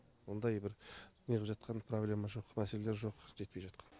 ондай бір неғып жатқан проблема жоқ мәселелер жоқ жетпей жатқан